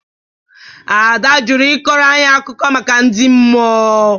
Ada jụrụ ị kọrọ anyị akụkọ maka ndị mmụọ.